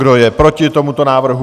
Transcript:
Kdo je proti tomuto návrhu?